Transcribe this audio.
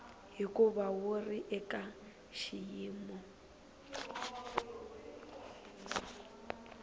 hikuva wu ri eka xiyimo